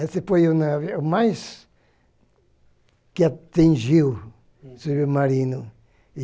Esse foi o navio mais que atingiu o submarino.